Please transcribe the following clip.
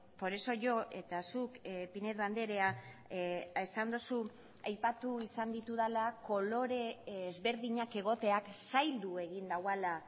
por eso yo eta zuk pinedo andrea esan duzu aipatu izan ditudala kolore ezberdinak egoteak zaildu egin duela